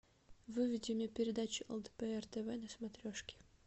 выведи мне передачу лдпр тв на смотрешке